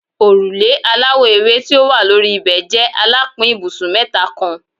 Orule alawọ ewe ti o wa lori ibẹ jẹ alapin ibusun mẹta kan